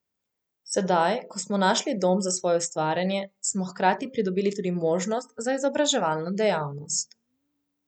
Sedaj, ko smo našli dom za svoje ustvarjanje, smo hkrati pridobili tudi možnosti za izobraževalno dejavnost.